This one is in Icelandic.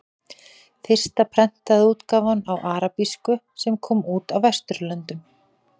Fyrsta prentaða útgáfan á arabísku sem kom út á Vesturlöndum.